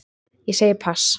Ég segi pass